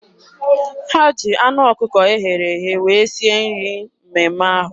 Ha ji anụ ọkụkọ eghere eghe wee sie nri mmemme ahụ.